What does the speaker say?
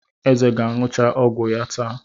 Eze ga-aṅụcha ọgwụ ya taa.